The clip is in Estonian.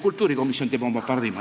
Kultuurikomisjon annab oma parima.